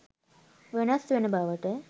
වෙනස් වෙන බවට